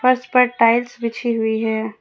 फर्श पर टाइल्स बिछी हुई है।